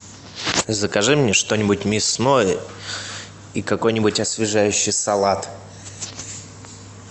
закажи мне что нибудь мясное и какой нибудь освежающий салат